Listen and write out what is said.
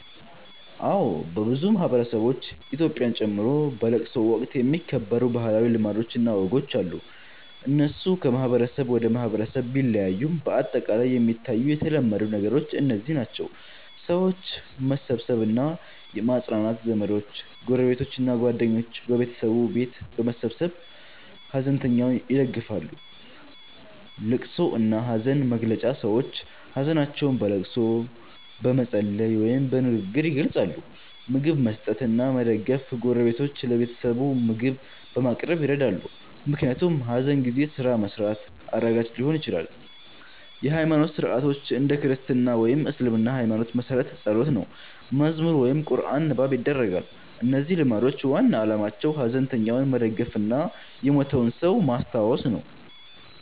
አዎን፣ በብዙ ማህበረሰቦች (ኢትዮጵያን ጨምሮ) በለቅሶ ወቅት የሚከበሩ ባህላዊ ልማዶች እና ወጎች አሉ። እነሱ ከማህበረሰብ ወደ ማህበረሰብ ቢለያዩም በአጠቃላይ የሚታዩ የተለመዱ ነገሮች እነዚህ ናቸው፦ የሰዎች መሰብሰብ እና ማጽናናት ዘመዶች፣ ጎረቤቶች እና ጓደኞች በቤተሰቡ ቤት በመሰብሰብ ሐዘንተኛውን ይደግፋሉ። ልቅሶ እና ሐዘን መግለጫ ሰዎች ሀዘናቸውን በልቅሶ፣ በመጸለይ ወይም በንግግር ይገልጻሉ። ምግብ መስጠት እና መደገፍ ጎረቤቶች ለቤተሰቡ ምግብ በማቅረብ ይረዳሉ፣ ምክንያቱም ሐዘን ጊዜ ስራ መስራት አዳጋች ሊሆን ይችላል። የሃይማኖት ሥርዓቶች እንደ ክርስትና ወይም እስልምና ሃይማኖት መሠረት ጸሎት፣ መዝሙር ወይም ቁርአን ንባብ ይደረጋል። እነዚህ ልማዶች ዋና ዓላማቸው ሐዘንተኛውን መደገፍ እና የሞተውን ሰው ማስታወስ ነው።